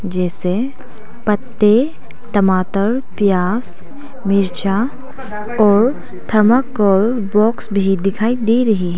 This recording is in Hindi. जैसे पत्ते टमाटर प्याज मिर्चा और थर्माकॉल बॉक्स भी दिखाई दे रहे हैं।